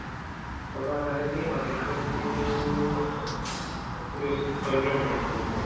ଘଟଗାଁ ତାରିଣୀ ବାଲେଶ୍ବରରୁ ସତୁରୀ ଅଶୀ ଶହେ kilometer ପାଖାପାଖି ପଡିବ